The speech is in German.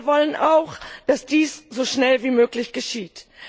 Und wir wollen auch, dass dies so schnell wie möglich geschieht.